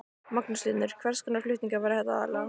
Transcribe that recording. Magnús Hlynur: Hvers konar flutningar verða þetta aðallega?